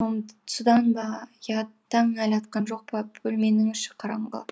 содан ба я таң әлі атқан жоқ па бөлменің іші қараңғы